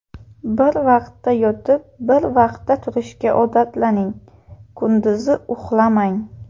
Bir vaqtda yotib, bir vaqtda turishga odatlaning, kunduzi uxlamang.